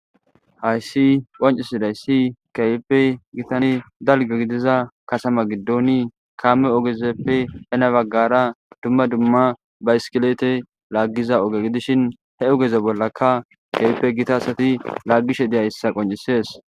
Haysi qonc'isidaysi kahipe gitane dalga gidiza katama gidoni kame ogezeppe hena bagara duma duma bayiskilete lagiza oge gidishin he ogeze bolaka kehipe gita asati lagishe deyaysa qonc'ises.